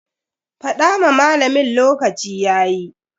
Fada ma malamin lokaci yayi.